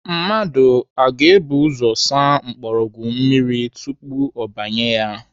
Mmadụ ọ ga-ebu ụzọ asa mgbọrọgwụ mmiri tupu ọ banye ya?